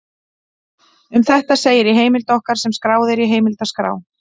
Um þetta segir í heimild okkar sem skráð er í heimildaskrá: